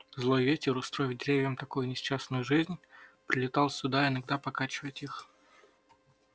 злой ветер устроив деревьям такую несчастную жизнь прилетал сюда иногда покачать их